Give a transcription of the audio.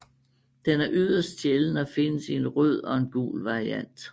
Den er yderst sjælden og findes i en rød og en gul variant